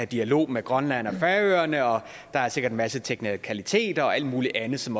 dialog med grønland og færøerne og der er sikkert en masse teknikaliteter og alt mulig andet som